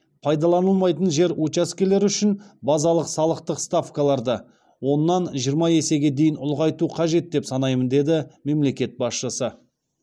пайдаланылмайтын жер учаскелері үшін базалық салықтық ставкаларды оннан жиырма есеге дейін ұлғайту қажет деп санаймын деді мемлекет басшысы